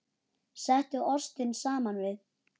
Settu ostinn saman við.